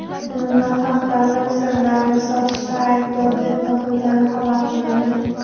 uni nohaq davlat sirlarini sotishda aybdor deb topilgani xabar qilindi.